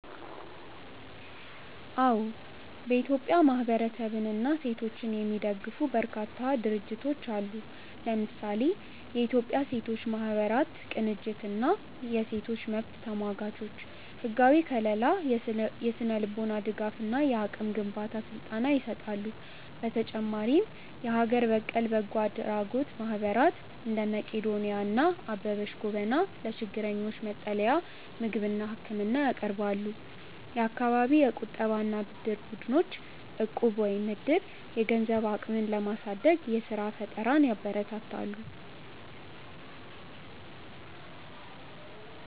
አዎ፥ በኢትዮጵያ ማህበረሰብንና ሴቶችን የሚደግፉ በርካታ ድርጅቶች አሉ። ለምሳሌ፦ የኢትዮጵያ ሴቶች ማህበራት ቅንጅት እና የሴቶች መብት ተሟጋቾች፦ ህጋዊ ከልላ፣ የስነ-ልቦና ድጋፍ እና የአቅም ግንባታ ስልጠና ይሰጣሉ። በተጨማሪም የሀገር በቀል በጎ አድራጎት ማህበራት (እንደ መቅዶንያ እና አበበች ጎበና) ለችግረኞች መጠለያ፣ ምግብና ህክምና ያቀርባሉ። የአካባቢ የቁጠባና ብድር ቡድኖች (እቁብ/ዕድር)፦ የገንዘብ አቅምን በማሳደግ የስራ ፈጠራን ያበረታታሉ።